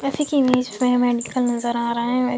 जैसे की इमेज में मैडिकल का नजर आ रहा है।